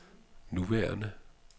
nuværende